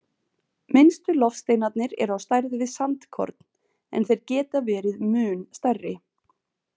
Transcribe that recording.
Minnstu loftsteinarnir eru á stærð við sandkorn, en þeir geta verið mun stærri.